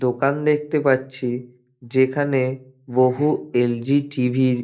দোকান দেখতে পারছি যেখানে বহু এল জি টিভি -র --